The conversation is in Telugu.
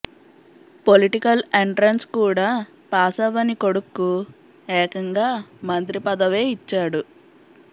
పొలిటికల్ ఎంట్రన్స్ కూడా పాసవ్వని కొడుక్కు ఏకంగా మంత్రి పదవే ఇచ్చాడు